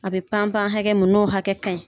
A bɛ pan pan hɛkɛ mun n'o hakɛ ka ɲi.